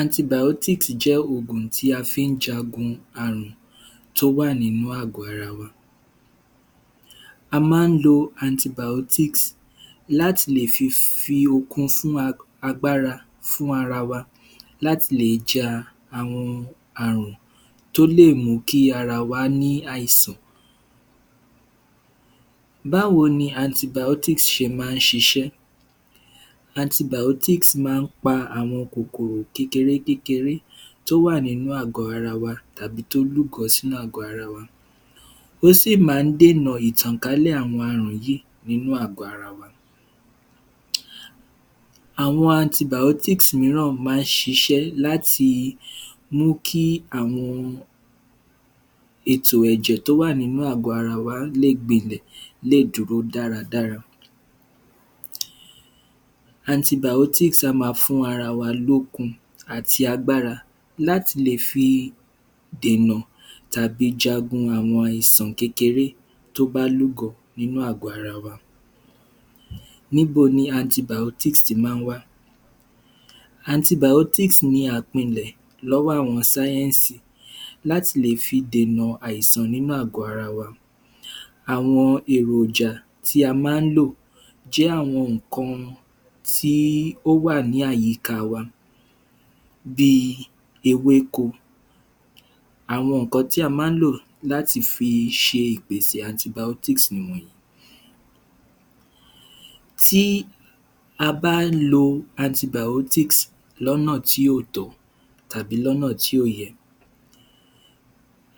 antibàótísì jẹ́ ògùn tí a fi jagun àrùn tó wà nínú àgọ́ ara wa a má lo antibàótísì láti lè fi fi okun fún a agbára fún ara wa láti lè ja àwọn àwọn àrùn tó lè mú kí ara wa ní àìsàn báwo ni antibàótísì ṣe má ṣiṣẹ́ antibàótísì má pa àwọn kòkòrò kékeré kékeré tó wà nínú àgọ́ ara wa tàbí tó lúgọ sínú agọ́ ara wa ó sì má dènà ìtànkálẹ̀ àwọn àrùn yí nínú àgọ́ ara? àwọn antibàótísì míràn má sisẹ́ láti mú kí àwọn ètò ẹ̀jẹ̀ tó wà nínú àgọ́ ara wa lè gbinlẹ̀ lé dúró dáradára um antibàótísì a ma fún ara wa lókun àti agbára láti lè fi dè nà tàbí jagun àwọn àìsàn kékeré tó bá lú gọ inú àgọ́ ara wa níbo ni antibàótísì ti má wá antibàótísì ni àpinlè lọ́wọ́ àwọn sáyẹ̀nsì láti lè fi dè nà àìsàn nínú àgọ́ ara wa àwọn èròjà tí a má lò jẹ́ àwọn ìkan tí ó wà ní àyíká wa bí i ewéko àwọn tí a má lò láti fi ṣe ìpẹṣẹ antibàótísì nì wònyí tí a bá lo antibàótísì lọ́nà tí kò tọ́ tàbí lọ́nà tí kò yẹ